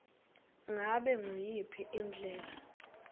ngabe nguyiphi indlela